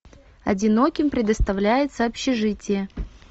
одиноким предоставляется общежитие